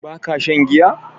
Ba ka shan giya?